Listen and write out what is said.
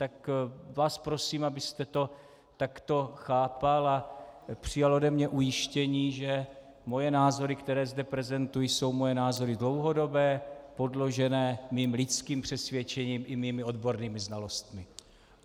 Tak vás prosím, abyste to takto chápal a přijal ode mě ujištění, že moje názory, které zde prezentuji, jsou moje názory dlouhodobé, podložené mým lidským přesvědčením i mými odbornými znalostmi.